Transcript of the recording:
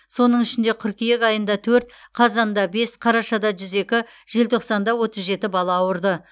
соның ішінде қыркүйек айында төрт қазанда бес қарашада жүз екі желтоқсанда отыз жеті бала ауырды